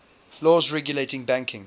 laws regulating banking